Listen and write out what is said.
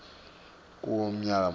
kuwo umnyaka munye